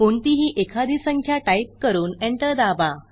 कोणतीही एखादी संख्या टाईप करून एंटर दाबा